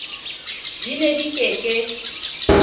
di ne di ke ke